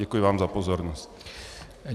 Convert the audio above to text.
Děkuji vám za pozornost.